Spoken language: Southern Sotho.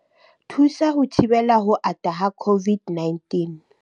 Thusa ho thibela ho ata ha COVID-19